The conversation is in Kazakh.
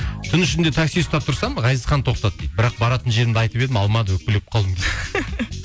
түн ішінде такси ұстап тұрсам ғазизхан тоқтады дейді бірақ баратын жерімді айтып едім алмады өкпелеп қалдым